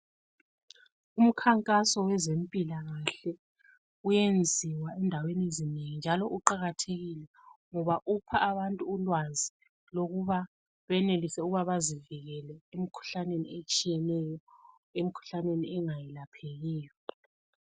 Umkhankaso wezempilakahle uyenziwa endaweni ezinengi njalo uqakathekile ngoba upha abantu ulwazi lokuba benelise ukuba bazivekele emikhuhlaneni etshiyeneyo, emkhuhlaneni engeyelaphekiyo..